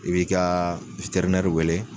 I b'i ka nɛri wele.